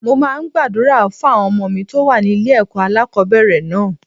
Mo máa ń gbàdúrà fún àwọn ọmọ mi tó wà ní ilé ẹ̀kọ́ alákòbẹ̀rẹ̀ náà.